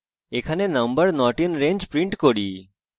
এখানে আমরা number not in range print করি